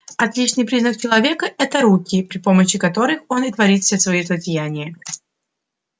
отличительный признак человека это руки при при помощи которых он и творит все свои злодеяния